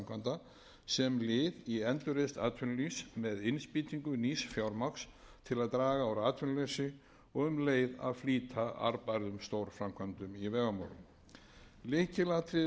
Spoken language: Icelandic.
vegaframkvæmda sem lið í endurreisn atvinnulífs með innspýtingu nýs fjármagns til að draga úr atvinnuleysi og um leið að flýta arðbærum stórframkvæmdum í vegamálum lykilatriði við þá leið er að